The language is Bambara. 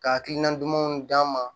Ka hakilina dumanw d'an ma